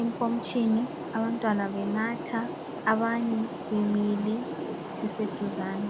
enkomitshini abantwana benatha abanye bemile beseduzane.